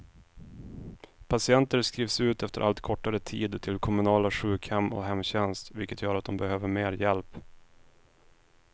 Patienter skrivs ut efter allt kortare tid till kommunala sjukhem och hemtjänst, vilket gör att de behöver mer hjälp.